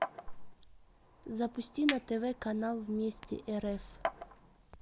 запусти на тв канал вместе рф